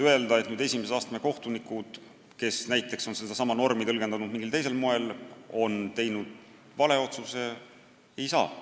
Öelda, et esimese astme kohtunikud, kes on sedasama normi tõlgendanud mingil teisel moel, on teinud vale otsuse, ei saa.